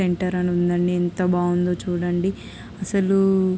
Enter అని ఉందండి.ఎంత బాగుందో చూడండి . అసలు--